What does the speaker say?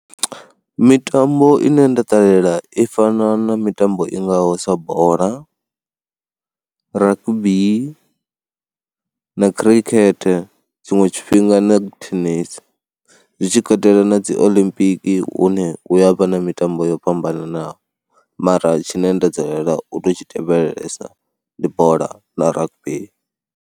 Mitambo ine nda ṱalela i fana na mitambo i ngaho sa bola, rugby na khirikhethe, tshiṅwe tshifhinga ni tennis zwi tshi katela na dzi olimpiki hune hu ya vha na mitambo yo fhambananaho mara tshine nda dzulela u tou tshi tevhelesa ndi bola na rugby.